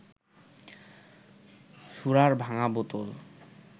সুরার ভাঙা বোতল